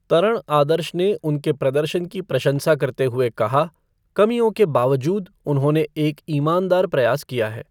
तरण आदर्श ने उनके प्रदर्शन की प्रशंसा करते हुए कहा, कमियों के बावजूद, उन्होंने एक ईमानदार प्रयास किया है।